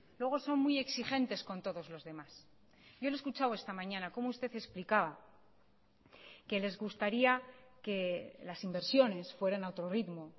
luego son muy exigentes con todos los demás yo le he escuchado esta mañana cómo usted explicaba que les gustaría que las inversiones fueran a otro ritmo